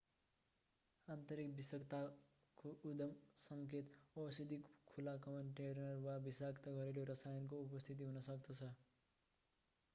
आन्तरिक विषाक्तताको उत्तम सङ्केत औषधीको खुला कन्टेनर वा विषाक्त घरेलु रसायनको उपस्थिति हुन सक्दछ